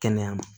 Kɛnɛya ma